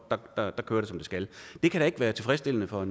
der kører det som det skal det kan da ikke være tilfredsstillende for